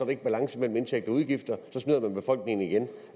ikke balance mellem indtægter og udgifter og så snyder man befolkningen igen